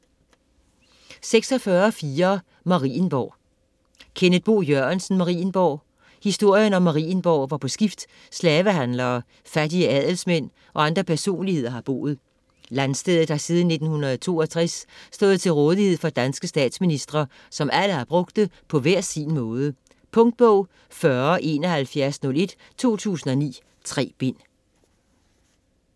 46.4 Marienborg Jørgensen, Kenneth Bo: Marienborg Historien om Marienborg, hvor på skift slavehandlere, fattige adelsmænd og andre personligheder har boet. Landstedet har siden 1962 stået til rådighed for danske statsministre, som alle har brugt det på hver sin måde. Punktbog 407101 2009. 3 bind.